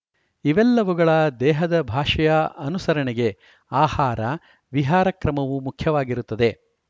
ಇವೆಲ್ಲವುಗಳ ದೇಹದ ಭಾಷೆಯ ಅನುಸರಣೆಗೆ ಆಹಾರ ವಿಹಾರ ಕ್ರಮವೂ ಮುಖ್ಯವಾಗಿರುತ್ತದೆ